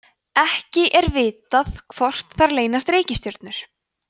ekki er vitað hvort þar leynast reikistjörnur